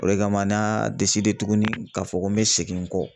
O de kama n y'a de tugun ka fɔ ko n mi segin n kɔ